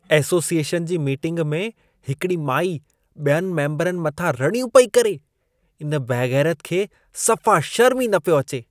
Association जी meeting में हिकिड़ी माई बि॒यनि मेम्बरनि मथां रड़ियूं पेई करे। इन बेग़ैरत खे सफ़ा शर्मु ई न पियो अचे।